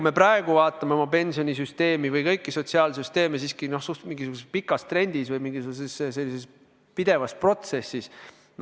Me praegu vaatame oma pensionisüsteemi ja kõiki sotsiaalsüsteeme siiski mingisuguses pikas trendis või mingisuguses pidevas protsessis.